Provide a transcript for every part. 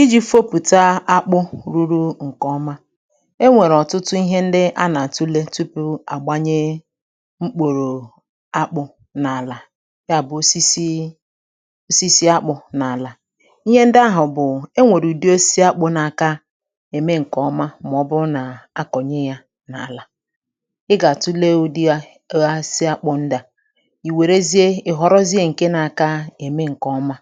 Ịji̇ fopùta akpụ̇ ruru ǹkè ọma, e nwèrè ọ̀tụtụ ihe ndị a nà-àtụle tupu àgbanye mkpùrù akpụ̇ n’àlà, ya bụ̀ osisi osisi akpụ̇ n’àlà. Ihe ndị ahụ̀ bụ̀ e nwèrè ùdi osisi akpụ̇ n’aka ème ǹkè ọma mà ọbụru nà-akọ̀nye yȧ n’àlà, ị gà-àtụle ùdi ya ụdị osisi akpu ndị a, ìwèrezie ìhọrọzie ǹke n’aka ème ǹkè ọma,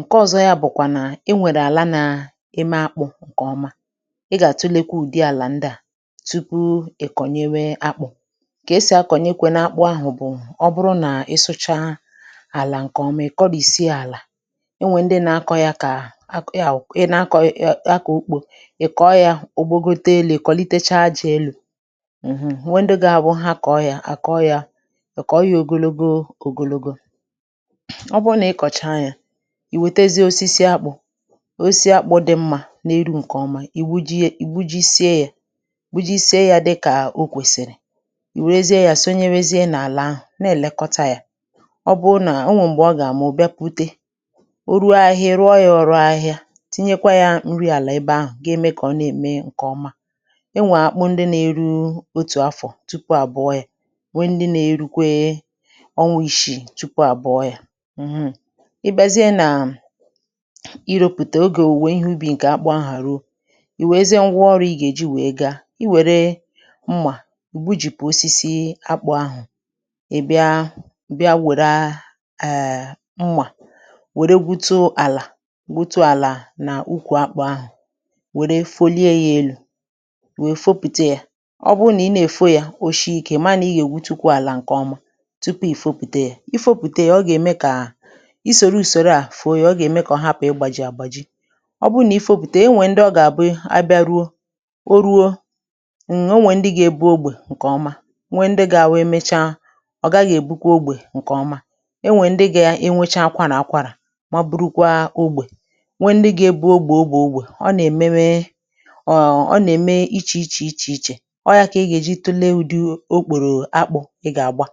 nke ọzọ ya bụkwa na énwere ala na-eme akpụ ǹkè ọma, ị gà-àtulekwa ụ̀dị àlà ndị à tupu ị̀ kọ̀nyewe akpụ̀, kà esì akọ̀nyekwenu akpụ ahụ̀ bụ̀ ọ bụrụ nà ị sụcha àlà ǹkè ọma ị̀ kọrìsie àlà o nwè ndị na-akọ ya kà ya wụ̀ ị nȧ-ȧkọ̀ ya ya kà ugbo ị̀ kọ̀ọ yȧ ògbogote elu̇, ị̀ kọ̀litecha aja elu̇, wee ndị ga-abụ ha kọ̀ọ ya àkọ ya ọ kọọ ya ogologo ògologo, ọ́bụrụ na ikocha ya, ìwètezie osisi akpu osisi akpụ dị̇ mmȧ n’eru ǹkè ọma ì bujie ì bujisie yȧ ì bujisie yȧ dịkà o kwèsìrì ì wèrezie yȧ sonye wèrezie n’àlà ahụ̀ na-èlekọta yȧ, ọ bụụ nà o nwèrè m̀gbụ ọ gà àmụ̀ ọ̀ bịa pute, o ruo ahịhịa ị ruo ya ọ̇ru ahịhia tinyekwa yȧ nri àlà ebe ahụ̀ ga-eme kà ọ na-ème ǹkè ọma, e nwèè akpụ ndị nà-eru otù afọ̀ tupu àbụọ yȧ, wee ndị nà-erukwe ọnwȧ ishi̇ tupu àbụọ yȧ mm, i bàzie nà ị rȯpùtè ogè òwùwè ihe ubi ǹkè akpụ ahụ̀ ha ruo ì wèezie ngwa ọrụ̇ ị gà-èji wèe gaa i wère mmà gbujìpù osisi akpụ̇ ahụ̀, ì bịa bịa wère mmà wère gwuto àlà gwuto àlà nà ukwù akpụ̇ ahụ̀ wère folie yȧ elu̇ wèe fopùte yȧ, ọ bụ nà ị na-èfo yȧ oshi̇ kà ị maa nà ị gà-ègwutukwa àlà ǹkè ọma tupu ị̀ fopùte yȧ ị fopùte yȧ ọ gà-ème kà ọ ị soro usoro fụọ ya, oga-eme ka ọ hapu igbaji àgbàjì obụrụ nà ifopùtè e nwè ndị ọ gà-àbụ a bịa ruo o ruo nnn o nwè ndị ga-ebu ogbè ǹkè ọma nwè ndị gà-àwụ emechaa ọ̀ gaghị̇ èbukwa ogbè ǹkè ọma e nwè ndị gà enwecha akwara akwàrà ma bụrụkwa ógbè, nwè ndị ga-ebu ogbè ogbè ogbè, ọ nà-èmewe ọ̀ọ nà-ème ichè ichè ichè ichè ọ̀ ya kà ị gà-èji tụlee udị okpòrò akpụ̀ ị gà-àgba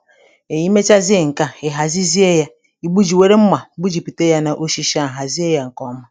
è yà emechazie ǹkè a ị̀ hàzizie yȧ, gbuji ị were mma gbujipuzie ya n'osisi ahụ hazie ya nke ọma.